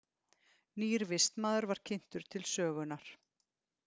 Nýr vistmaður var kynntur til sögunnar.